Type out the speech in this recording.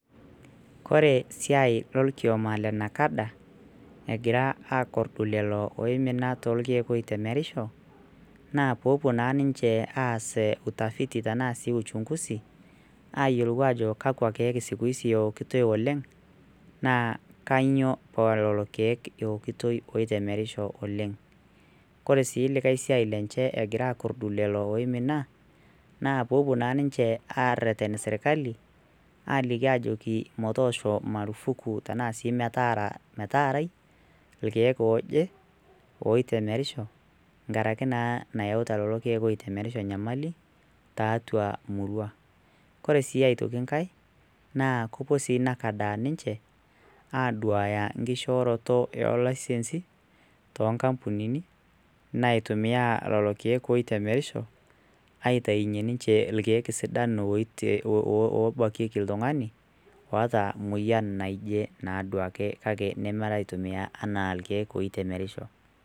kore siai lolkioma le NACADA egira akorrdu lelo oimina tolkeek oitemerisho naa poopuo naa ninche aas utafiti tenaa sii uchunguzi ayiolou ajo kakwa keek siku hizi ewokitoi oleng naa kanyio paa lolo keek ewokitoi oitemerisho oleng kore sii likae siai lenche egira akorrdu lelo oimina naa poopuo naa ninche arreten sirkali aliki ajoki motoosho marufuku tenaa sii metaarai ilkeek oje oitemerisho nkarake naa nayauta lelo keek oitemerisho nyamali tiatua murua kore sii aitoki nkae naa kopuo sii NACADA ninche aduaya nkishooroto eo laisensi toonkampunini naitumia lolo keek oitemerisho aitainyie ninche ilkeek sidan obakieki iltung'ani oota moyian naje naa duake kake nemara aitumia anaa irkeek oitemeriosho.